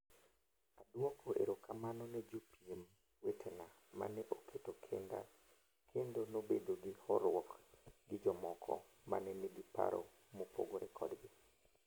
Adwoko erokamano ne jopiem wetena mane oketo kinda kendo nobedo gi horuok gi jomoko, mane nigi paro mopogore kodgi.